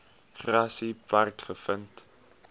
grassy park gevind